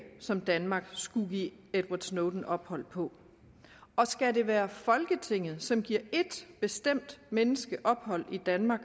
som danmark skulle give edward snowden ophold på og skal det være folketinget som giver et bestemt menneske ophold i danmark